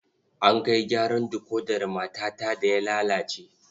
An kai gyaran dikodar matata da ya lalace.